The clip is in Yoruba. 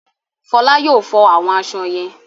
Fọlá yóò fọ àwọn aṣọ yẹn?